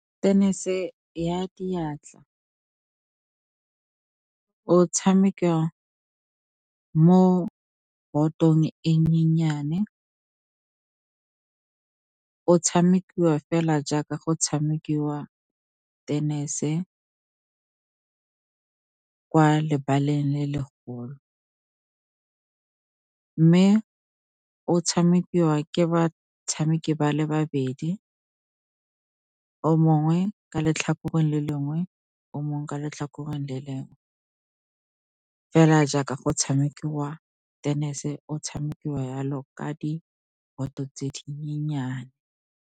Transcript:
Tenese ya diatla o tshamekiwa mo botong e nyenyane. O tshamekiwa fela jaaka go tshamekiwa tenese kwa lebaleng le legolo, mme o tshamekiwa ke batshameki ba le babedi, o mongwe ka letlhakoreng le lengwe, o mongwe ka letlhakoreng le lengwe. Fela jaaka go tshamekiwa tenese, o tshamekiwa jalo ka diboto tse dinyenyane.